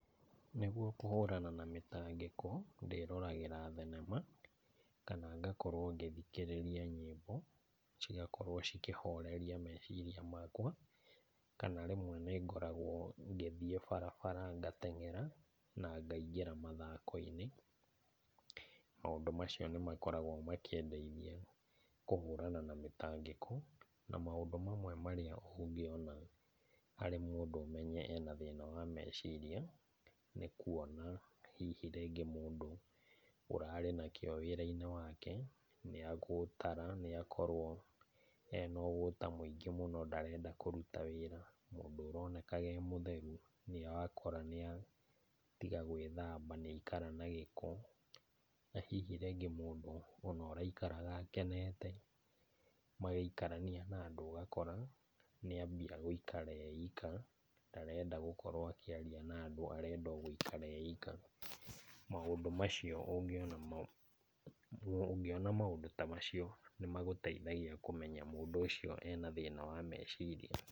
Nĩguo kũhũrana na mĩtangĩko ndĩroragĩra thenema, kana ngakorwo ngĩthikĩrĩria nyĩmbo, cigakorwo cikĩhoreria meciria makwa, kana rĩmwe nĩngoragwo ngĩthiĩ barabara ngateng'era na ngaingĩra mathako-inĩ. Maũndũ macio nĩmakoragwo makĩndeithia kũhũrana na mĩtangĩko. Na, maũndũ mamwe marĩa ũngĩona harĩ mũndũ ũmenye ena thĩna wa meciria, nĩ kuona hihi rĩngĩ mũndũ ũrarĩ na kĩo wĩra-inĩ wake, nĩagũtara nĩakorwo ena ũgũta mũingĩ mũno, ndarenda kũruta wĩra. Mũndũ ũronekaga e mũtheru nĩwakora nĩatiga gwĩthamba nĩaikara na gĩko. Na, hihi rĩngĩ mũndũ ona ũraikaraga akenete magĩikarania na andũ ũgakora nĩambia gũikara e ika, ndarenda gũkorwo akĩaria na andũ, arenda o gũikara e ika. Maũndũ macio ũngĩona, ũngĩona maũndũ ta macio, nĩmagũteithagia kũmenya mũndũ ũcio ena thĩna wa meciria.